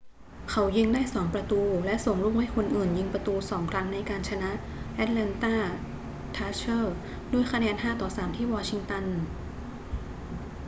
เขายิงได้ 2 ประตูและส่งลูกให้คนอื่นยิงประตู 2 ครั้งในการชนะ atlanta thrashers ด้วยคะแนน 5-3 ที่วองชิงตัน